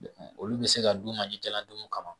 olu be se ka dun ka litela dumun kama